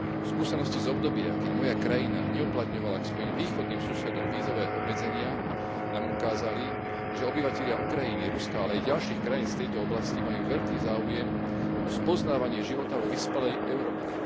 Skúsenosti z obdobia, keď moja krajina neuplatňovala voči svojim východným susedom vízové obmedzenia, nám ukázali, že obyvatelia Ukrajiny, Ruska, ale aj ďalších krajín z tejto oblasti majú veľký záujem o spoznávanie života vo vyspelej Európe.